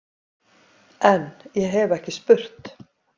En- ég hef ekki spurt.